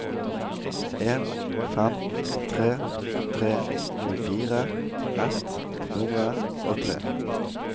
en fem tre tre tjuefire ett hundre og tre